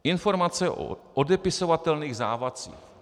Informace o odepisovatelných závazcích.